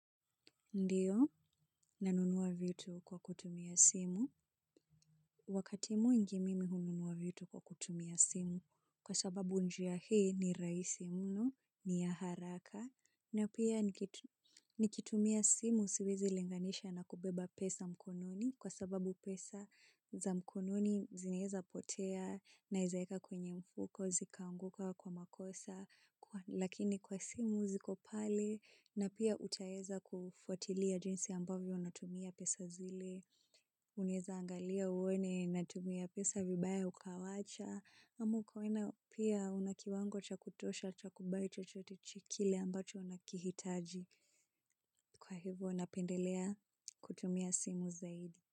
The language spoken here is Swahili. Ndio, nanunuwa vitu kwa kutumia simu. Wakati mwingi mimi hununuwa vitu kwa kutumia simu kwa sababu njia hii ni rahisi mno, ni ya haraka. Na pia nikitumia simu siwezi linganisha na kubeba pesa mkononi kwa sababu pesa za mkononi zinaeza potea naezaweka kwenye mfuko zikaanguka kwa makosa lakini kwa simu zikopale na pia utaeza kufuatilia jinsi ambavyo unatumia pesa zile unaeza angalia uone natumia pesa vibaya ukawacha ama ukaona pia unakiwango chakutosha chakubai chochote kile ambacho unakihitaji. Kwa hivyo napendelea kutumia simu zaidi.